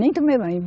Nem tomei banho.